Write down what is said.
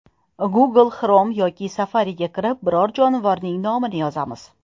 Google Chrome yoki Safari’ga kirib, biron jonivorning nomini yozamiz.